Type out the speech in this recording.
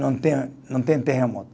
Não tem a, não tem terremoto.